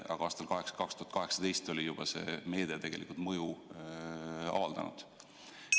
Aga aastal 2018 oli see meede juba tegelikult mõju avaldanud.